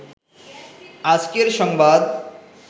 আজকের সংবাদ